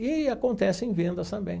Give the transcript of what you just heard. E acontece em vendas também.